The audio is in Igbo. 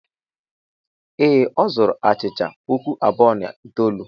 Ee, ọ zuru achịcha puku abụọ na itoolu.